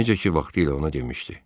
Necə ki vaxtilə ona demişdi.